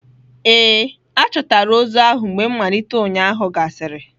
Ee, a chọtara ozu ahụ mgbe mmalite ụnyahụ gasịrị